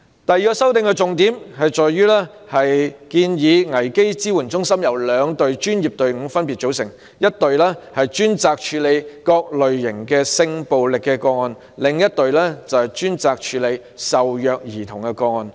修正案的第二個重點是建議危機支援中心由兩隊專業隊伍組成，一隊專責處理各類型性暴力個案，另一隊則專責處理受虐兒童個案。